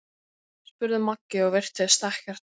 spurði Maggi og virtist ekkert muna.